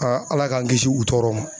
Ala k'an kisi u tɔɔrɔ ma